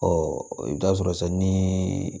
i bɛ taa sɔrɔ sa ni